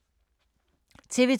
TV 2